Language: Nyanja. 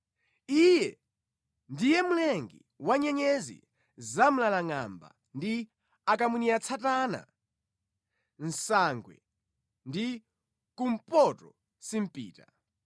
Iye ndiye mlengi wa nyenyezi zamlalangʼamba ndi akamwiniatsatana, nsangwe ndi kumpotosimpita.